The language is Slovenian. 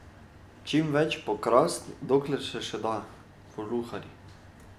Čimveč pokrast dokler se še da, voluharji.